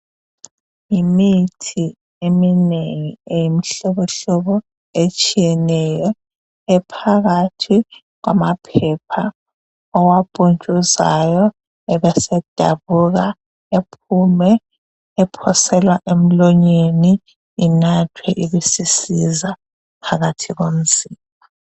Yimithi eminengi eyimihlobohlobo etshiyeneyo ephakathi kwamaphepha apuntshuzwayo asedabuka ephume ephoselwa emlonyeni enathwe ibisisiza phakathi komzimba